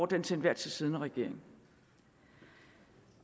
den til enhver tid siddende regering